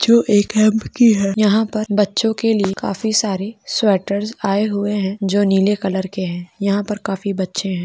यहाँ पर बच्चो के लिए काफी सारे स्वेटर्स आये हुए है जो नीले कलर के है यहाँ पर काफी बच्चे है।